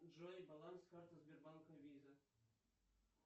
джой баланс карты сбербанка виза